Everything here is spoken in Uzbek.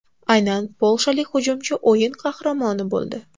Aynan polshalik hujumchi o‘yin qahramoni bo‘ldi.